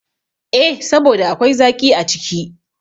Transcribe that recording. E, saboda akwai zaƙi a ciki.